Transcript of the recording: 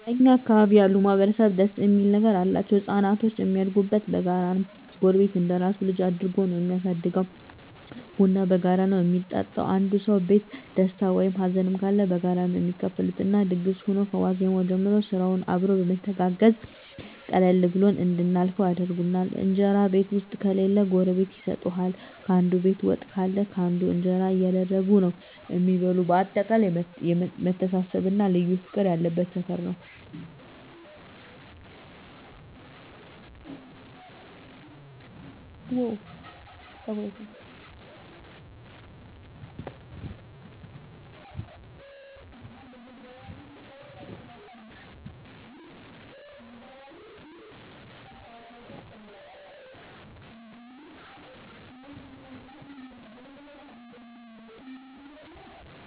እኛ አካባቢ ያሉ ማህበረሰብ ደስ እሚል ነገር አላቸዉ። ህፃናቶች እሚያድጉት በጋራ ነዉ ጎረቤት እንደራሱ ልጅ አድርጎ ነዉ እሚያሳድገዉ፣ ቡና በጋራ ነዉ እሚጠጡት፣ አንዱ ሰዉ ቤት ደስታ ወይም ሀዘንም ካለ በጋራ ነዉ እሚካፈሉት እና ድግስ ሁኖ ከዋዜማዉ ጀምሮ ስራዉንም አብረዉ በመተጋገዝ ቀለል ብሎን እንድናልፈዉ ያደርጉናል። እንጀራ ቤት ዉስጥ ከሌለ ጎረቤት ይሰጡሀል፣ ካንዱ ቤት ወጥ ካለ ካንዱ እንጀራ እያደረጉ ነዉ እሚበሉ በአጠቃላይ መተሳሰብ እና ልዩ ፍቅር ያለበት ሰፈር ነዉ።